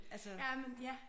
Jamen ja